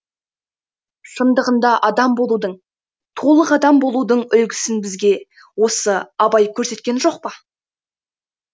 шындығында адам болудың толық адам болудың үлгісін бізге осы абай көрсеткен жоқ па